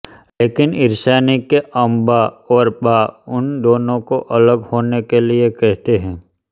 लेकिन ईशानी के अम्बा और बा उन दोनों को अलग होने के लिए कहते हैं